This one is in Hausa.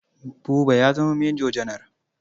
Buba ya zama manjo janar.